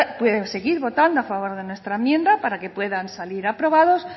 seguir votando a favor de nuestra enmienda para que puedan salir aprobados